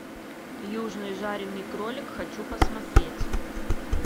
южный жаренный кролик хочу посмотреть